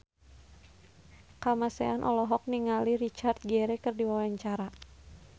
Kamasean olohok ningali Richard Gere keur diwawancara